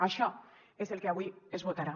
això és el que avui es votarà